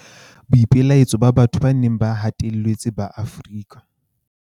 Boipelaetso ba batho ba neng ba hatelletswe ba Afrika